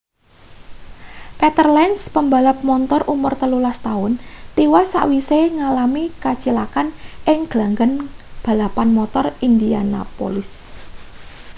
peter lenz pembalap montor umur 13 taun tiwas sawise ngalami kacilakan ing glanggang balapan motor indianapolis